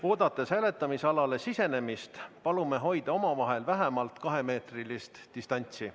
Oodates hääletamisalale sisenemist, palume hoida omavahel vähemalt kahemeetrilist distantsi.